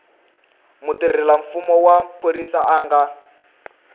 mutirhelamfumo wa phorisa a nga